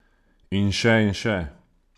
In še in še!